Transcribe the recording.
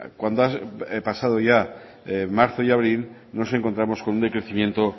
cuando ha pasado ya marzo y abril nos encontramos con un decrecimiento